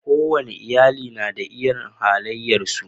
Ko wane iyali na da irin halayensu.